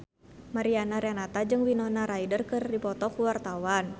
Mariana Renata jeung Winona Ryder keur dipoto ku wartawan